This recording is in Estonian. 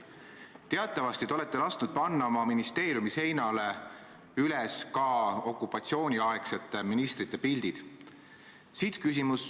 Teatavasti olete lasknud panna oma ministeeriumi seinale ka okupatsiooniaegsete ministrite pildid.